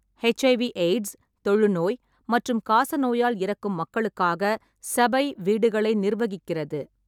HIV AIDS, தொழுநோய் மற்றும் காசநோயால் இறக்கும் மக்களுக்காக சபை வீடுகளை நிர்வகிக்கிறது.